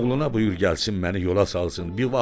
Oğluna buyur gəlsin məni yola salsın.